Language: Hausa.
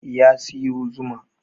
Ya siyo zuma